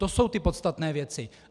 To jsou ty podstatné věci.